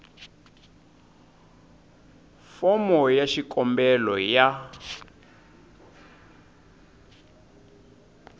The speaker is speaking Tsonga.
fomo ya xikombelo ya